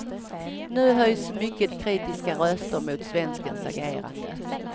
Nu höjs mycket kritiska röster mot svenskens agerande.